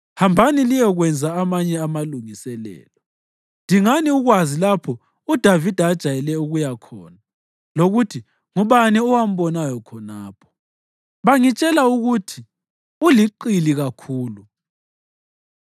Hambani liyekwenza amanye amalungiselelo. Dingani ukwazi lapho uDavida ajayele ukuya khona lokuthi ngubani owambonayo khonapho. Bangitshela ukuthi uliqili kakhulu.